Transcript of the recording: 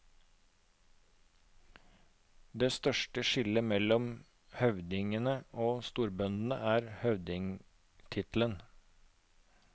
Det største skillet mellom høvdingene og storbøndene er høvdingtittelen.